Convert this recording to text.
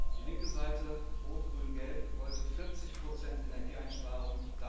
Die linke Seite rot, grün, gelb wollte 40 Energieeinsparung.